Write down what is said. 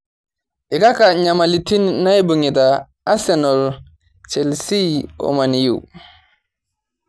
kaka nyamalitin naibung; ita asenal, chelisi o mani u